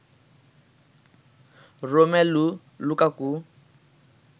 Romelu Lukaku